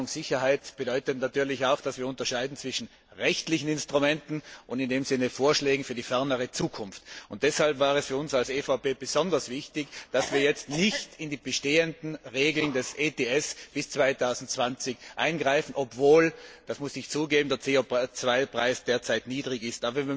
Aber Planungssicherheit bedeutet natürlich auch, dass wir zwischen rechtlichen Instrumenten und Vorschlägen für die fernere Zukunft unterscheiden Deshalb war es für uns als EVP besonders wichtig, dass wir jetzt nicht in die bestehenden Regeln des ETS bis 2020 eingreifen, obwohl das muss ich zugeben der CO Preis derzeit niedrig ist.